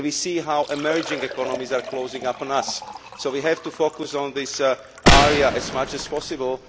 to. We can see how emerging economies are closing on us, so we have to focus on this area as much as possible.